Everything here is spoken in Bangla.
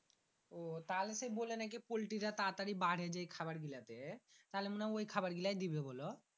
উহ তাহলে সেই বলে নাকি পোল্টি রা তারা তারি বাড়ে যেই খাবার গীলা তে তাহলে মনে হয় ওই খাবার গিলাই দিবে বোলো